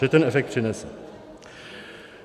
Že ten efekt přinese.